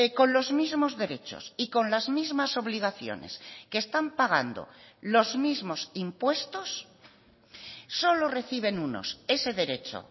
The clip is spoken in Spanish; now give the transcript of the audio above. con los mismos derechos y con las mismas obligaciones que están pagando los mismos impuestos solo reciben unos ese derecho